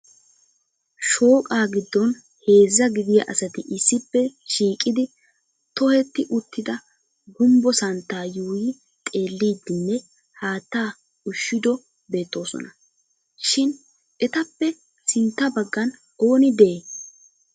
Shooqa giddon heezza gidiyaa asati issippe shiiqidi tohetti uttida gumbbo santta yuuyyi xeellidinne haatta ushshido beettoosona. Shin etappe sintta baggan ooni de"